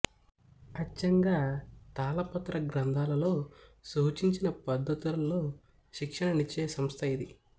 అచ్చంగా తాళపత్ర గంధాలలో సూచించిన పద్దతులలో శిక్షణ నిచ్చే సంస్థ ఇది